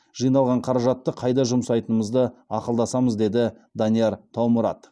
жиналған қаражатты қайда жұмсайтынымызды ақылдасамыз деді данияр таумұрат